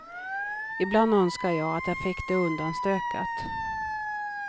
Ibland önskar jag att jag fick det undanstökat.